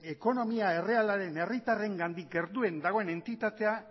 ekonomia errealaren herritarrengandik gertuen dagoen entitatea